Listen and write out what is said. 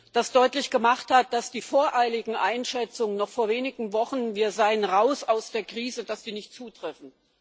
das deutlich gemacht hat, dass die voreiligen Einschätzungen noch vor wenigen Wochen wir seien raus aus der Krise nicht zutreffen.